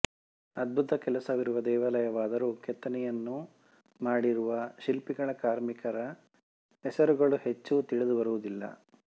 ಅಧ್ಬುತ ಕೆಲಸವಿರುವ ದೇವಾಲಯವಾದರೂ ಕೆತ್ತನೆಯನ್ನು ಮಾಡಿರುವ ಶಿಲ್ಪಿಗಳ ಕಾರ್ಮಿಕರ ಹೆಸರುಗಳು ಹೆಚ್ಚು ತಿಳಿದುಬರುವುದಿಲ್ಲ